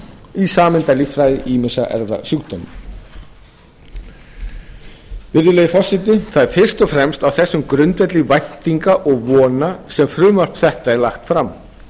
í sameindalíffræði ýmissa erfðasjúkdóma virðulegi forseti það er fyrst og fremst á þessum grundvelli væntinga og vona sem frumvarp þetta er lagt fram